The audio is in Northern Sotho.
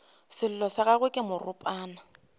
sello sa gagwe ke moropana